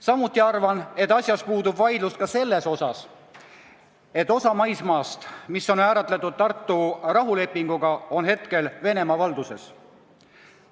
Samuti arvan, et puudub vaidlus selles osas, et osa maismaast, mis on määratletud Tartu rahulepinguga, on hetkel Venemaa valduses.